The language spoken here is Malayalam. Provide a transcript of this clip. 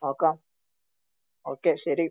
നോകാം. ഒകെ ശെരി